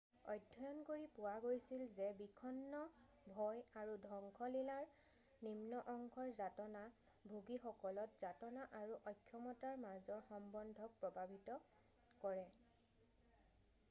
অধ্যয়ন কৰি পোৱা গৈছিল যে বিষণ্ণ ভয় আৰু ধ্বংসলীলাৰ নিম্ন অংশৰ যাতনা ভোগীসকলত যাতনা আৰু অক্ষমতাৰ মাজৰ সম্বন্ধক প্ৰভাৱিত কৰে৷